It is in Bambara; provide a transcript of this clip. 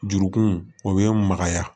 Jurukun o bɛ magaya